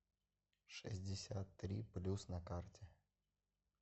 шестьдесят три плюс на карте